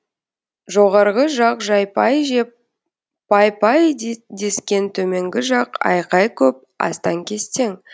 жоғарғы жақ жайпай жеп пай пай дескен төменгі жақ айқай көп астаң кестең